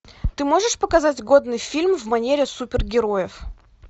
ты можешь показать годный фильм в манере супергероев